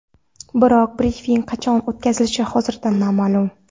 Biroq brifing qachon o‘tkazilishi hozircha noma’lum.